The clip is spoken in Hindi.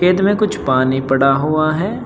खेत में कुछ पानी पड़ा हुआ है।